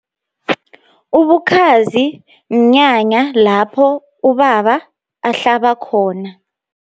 Ubukhazi, mnyanya lapho ubaba ahlaba khona.